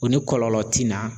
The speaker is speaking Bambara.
O ni kɔlɔlɔ ti na